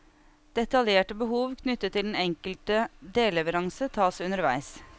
Detaljerte behov knyttet til den enkelte delleveranse, tas underveis.